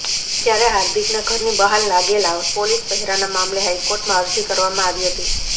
ત્યારે હાર્દિકના ઘરની બહાર લાગેલા પોલીસ પહેરાના મામલે હાઈકોર્ટમાં અરજી કરવામાં આવી હતી